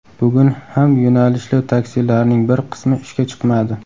Bugun ham yo‘nalishli taksilarning bir qismi ishga chiqmadi.